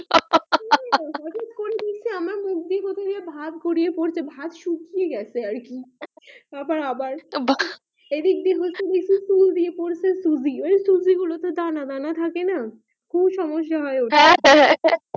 ভাত গড়িয়ে পড়ছে ভাত শুকিয়ে গেছে আর কি আবার আবার বা দানা দানা থাকে না খুব সমস্যা হয় হ্যাঁ হ্যাঁ